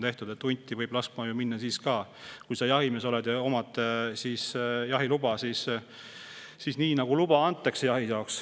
Hunti võib ju laskma minna, kui sa oled jahimees ja omad jahiluba, jahi jaoks luba antakse.